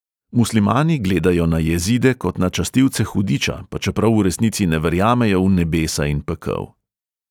Muslimani gledajo na jezide kot na častilce hudiča, pa čeprav v resnici ne verjamejo v nebesa in pekel.